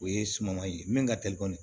O ye suman ye min ka teli kɔni